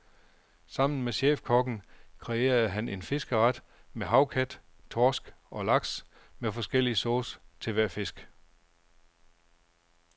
Sammen med chefkokken kreerede han en fiskeret med havkat, torsk og laks med forskellig sauce til hver fisk.